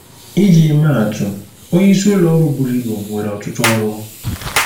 Iji maa atụ: Onyeisi ụlọ ọrụ buru ibu nwere ọtụtụ ọrụ.